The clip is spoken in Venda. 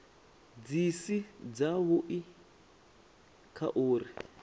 dzi si dzavhui kha uri